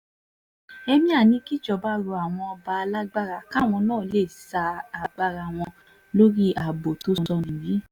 emir ní kíjọba rọ àwọn ọba lágbára káwọn náà lè sa agbára wọn lórí ààbò tó sọnù yìí